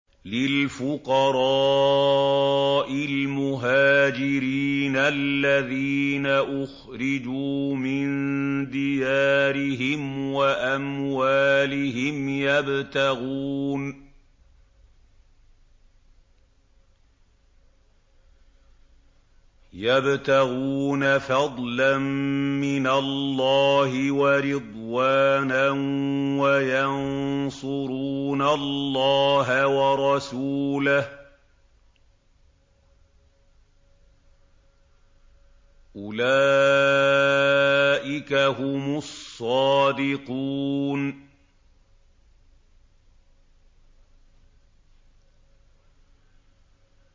لِلْفُقَرَاءِ الْمُهَاجِرِينَ الَّذِينَ أُخْرِجُوا مِن دِيَارِهِمْ وَأَمْوَالِهِمْ يَبْتَغُونَ فَضْلًا مِّنَ اللَّهِ وَرِضْوَانًا وَيَنصُرُونَ اللَّهَ وَرَسُولَهُ ۚ أُولَٰئِكَ هُمُ الصَّادِقُونَ